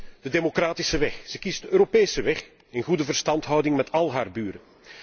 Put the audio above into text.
Zij kiest de democratische weg, zij kiest de Europese weg, in goede verstandhouding met al haar buren.